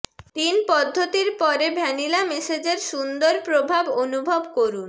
তিন পদ্ধতির পরে ভ্যানিলা ম্যাসেজের সুন্দর প্রভাব অনুভব করুন